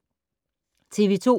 TV 2